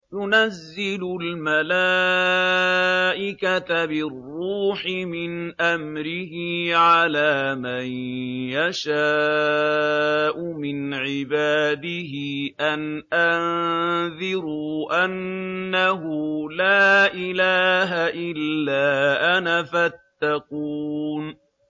يُنَزِّلُ الْمَلَائِكَةَ بِالرُّوحِ مِنْ أَمْرِهِ عَلَىٰ مَن يَشَاءُ مِنْ عِبَادِهِ أَنْ أَنذِرُوا أَنَّهُ لَا إِلَٰهَ إِلَّا أَنَا فَاتَّقُونِ